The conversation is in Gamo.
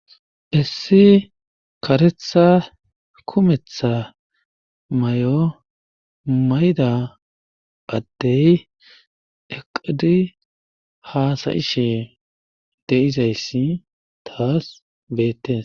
Issi karetha kumetha mayo mayda addey eqidi haasayishe deizayssi taas beettes